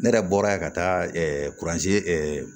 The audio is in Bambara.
Ne yɛrɛ bɔra yen ka taa kurazi